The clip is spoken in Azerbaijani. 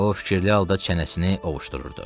O fikirli halda çənəsini ovuşdururdu.